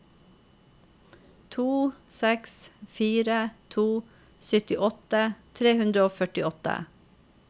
to seks fire to syttiåtte tre hundre og førtiåtte